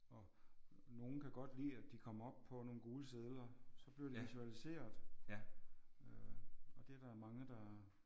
Og nogle kan godt lide at de kommer op på nogle gule sedler så bliver det visualiseret øh og det er der mange der